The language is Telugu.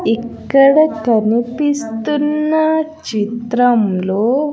ఇక్కడ కనిపిస్తున్న చిత్రంలో--